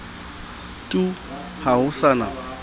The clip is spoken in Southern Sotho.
tu ha ho sa na